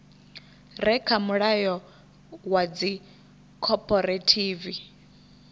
re kha mulayo wa dzikhophorethivi